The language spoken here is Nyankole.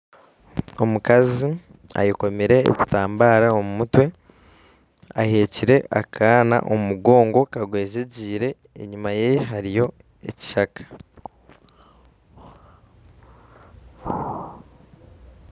Omukazi ayekomire ekitambaara omumutwe aheekire akaana omumugongo kagwezegyeire enyuma yehe hariyo ekishaka